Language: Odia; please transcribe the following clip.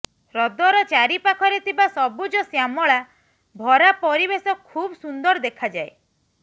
ହ୍ରଦର ଚାରିପାଖରେ ଥିବା ସବୁଜଶ୍ୟାମଳା ଭରା ପରିବେଶ ଖୁବ ସୁନ୍ଦର ଦେଖାଯାଏ